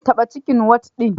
Taba cikin wad ɗin.